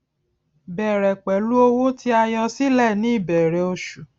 bẹrẹ pẹlú owó tí a yọ sílẹ ní ìbẹrẹ oṣù